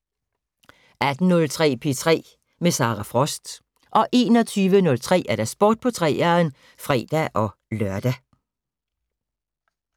18:03: P3 med Sara Frost 21:03: Sport på 3'eren (fre-lør)